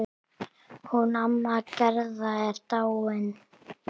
Hún amma Gerða er dáin.